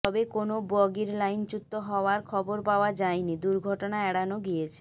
তবে কোনও বগির লাইনচ্যুত হওয়ার খবর পাওয়া যায়নি দুর্ঘটনা এড়ানো গিয়েছে